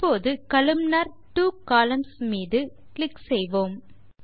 இப்போது columnar two columns மீது click செய்வோம்